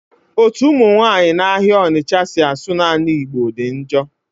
Ọtu ụmụ nwanyị na-ahịa Ọnịtcha si asụ naanị igbo dị njọ.